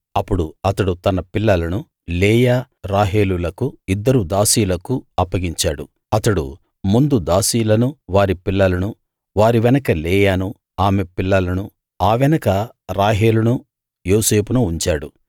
అప్పుడు అతడు తన పిల్లలను లేయా రాహేలులకు ఇద్దరు దాసీలకు అప్పగించాడు అతడు ముందు దాసీలనూ వారి పిల్లలనూ వారి వెనక లేయానూ ఆమె పిల్లలనూ ఆ వెనక రాహేలునూ యోసేపునూ ఉంచాడు